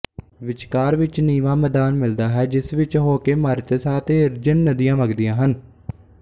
ਵਿਚਕਾਰ ਵਿੱਚ ਨੀਵਾਂ ਮੈਦਾਨ ਮਿਲਦਾ ਹੈ ਜਿਸ ਵਿੱਚ ਹੋਕੇ ਮਾਰੀਤਸਾ ਅਤੇ ਇਰਜਿਨ ਨਦੀਆਂ ਵਗਦੀਆਂ ਹਨ